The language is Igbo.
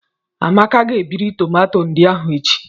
Amaka ga-ebiriri tomato ndị ahụ echi.